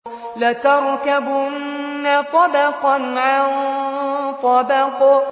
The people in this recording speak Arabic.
لَتَرْكَبُنَّ طَبَقًا عَن طَبَقٍ